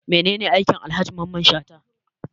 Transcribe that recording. Mene ne aikin Alhaji Mamman Shata?